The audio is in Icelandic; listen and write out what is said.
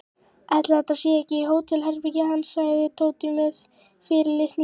Ætli þetta sé ekki hótelherbergið hans sagði Tóti með fyrirlitningu.